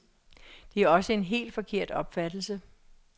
Det er også en helt forkert opfattelse.